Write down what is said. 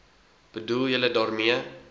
bedoel julle daarmee